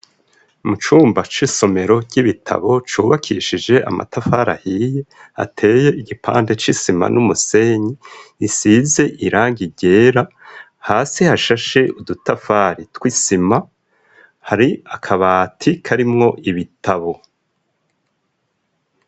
Mu cumba c'isomero ry'ibitabo cubakishije amatafarahiye ateye igipande c'isima n'umusenyi isize iraga irera hasi hashashe udutafari twisima hari akabati karimwo ibitabo.